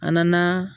A nana